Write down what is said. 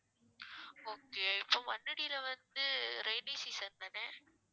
okay இப்போ மண்ணடில வந்து rainy season தானே